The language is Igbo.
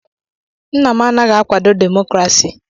Nna m anaghị akwado demokrasi.